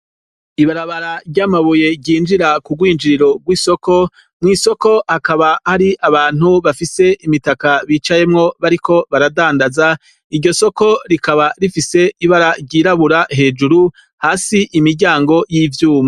Ibarabara ry'amabuye ryinjira kurwinjiriro rw'isoko mw'isoko hakaba hari abantu bafise imitaka bicayemwo bariko baradandaza iryo soko rikaba rifise ibararyirabura hejuru hasi imiryango y'ivyuma.